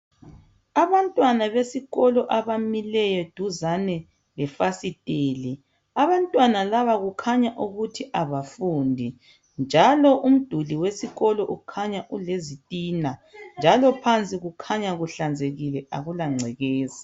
abantwana besikolo abamileyo duzane lefasitele abantwana laba kukhanya ukuthi abafundi njalo umduli wesikolo ukhanya ulezitina jalo phansi kukhanya kuhlanzekile akulancekeza